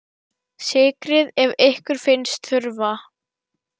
Sykrið ef ykkur finnst þurfa.